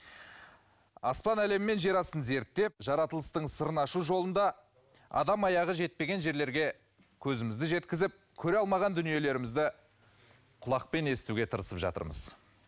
аспан әлемі мен жер астын зерттеп жаратылыстың сырын ашу жолында адам аяғы жетпеген жерлерге көзімізді жеткізіп көре алмаған дүниелерімізді құлақпен естуге тырысып жатырмыз